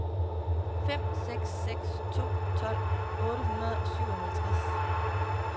fem seks seks to tolv otte hundrede og syvoghalvtreds